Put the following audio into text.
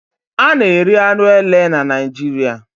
A na-eri anụ ele na Naijiria